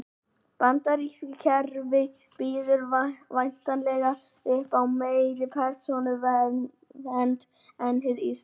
Bandaríska kerfið býður væntanlega upp á meiri persónuvernd en hið íslenska.